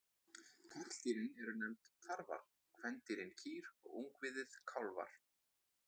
Karldýrin eru nefnd tarfar, kvendýrin kýr og ungviðið kálfar.